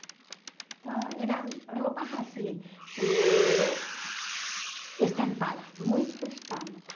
Então eram roupas assim, eh estampadas, muitas estampas.